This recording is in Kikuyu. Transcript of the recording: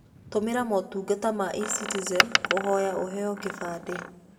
Tũmĩra motungata ma eCitizen kũhoya ũheo kĩbandĩ.